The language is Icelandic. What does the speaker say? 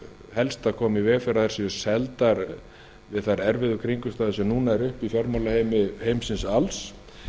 helst að koma í veg fyrir að þær séu seldar við þær erfiðu kringumstæður sem núna eru uppi fjármálaheimsins alls